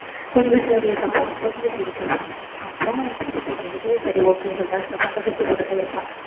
கொஞ்சம் serious ஆ போகும் கொஞ்சம் serious ஆ போகும் அப்புறம் குஸ்தி போடுறதுக்கு சரி okay ன்னு சொல்லிட்டாங்க குஸ்தி போட்டுட்டே இருப்பா